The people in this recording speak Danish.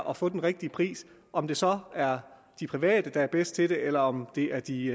og få den rigtige pris om det så er de private der er bedst til det eller om det er de